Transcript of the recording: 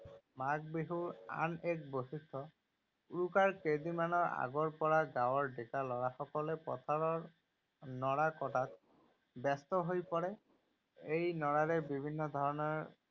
মাঘ বিহুৰ আন এক বৈশিষ্ট, উৰুকাৰ কেইদিনমানৰ আগৰ পৰা গাঁৱৰ ডেকা লৰাসকলে পথাৰত নৰা কটাত ব্যস্ত হৈ পৰে। এই নৰাৰে বিভিন্ন ধৰণৰ